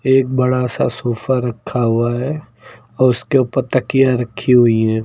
एक बड़ा सा सोफा रखा हुआ है और उसके ऊपर तकिया रखी हुई है।